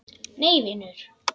Nei vinur.